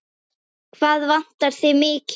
Hvað vantar þig mikið?